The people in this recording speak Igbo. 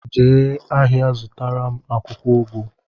Jee ahịa zụtaram akwụkwọ ugu!